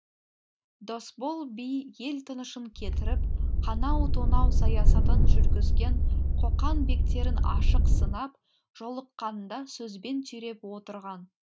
досбол би ел тынышын кетіріп қанау тонау саясатын жүргізген қоқан бектерін ашық сынап жолыққанда сөзбен түйреп отырған